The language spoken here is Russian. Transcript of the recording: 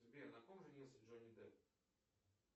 сбер на ком женился джонни депп